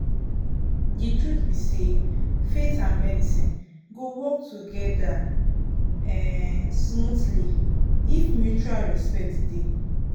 the truth be sayfaith and medicine go work together um smoothly if mutual respect dey.